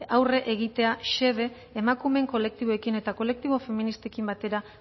aurre egitea xede emakumeen kolektiboekin eta kolektibo feministekin batera